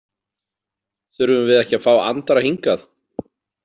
Þurfum við ekki að fá Andra hingað?